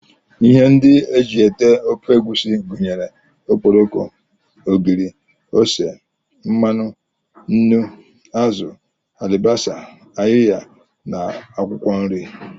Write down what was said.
Ihe ndị e ji ete ofe egusi gụnyere okporoko, ogiri, ose, mmanụ, nnu, azụ, alibasa, ayiya na akwụkwọ nri